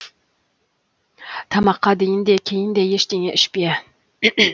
тамаққа дейін де кейін де ештеңе ішпе